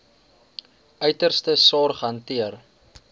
uiterste sorg hanteer